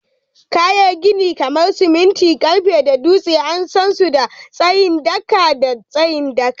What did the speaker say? Kayan gini kamar siminti, karfe da dutse an san su da tsayin daka da tsayin daka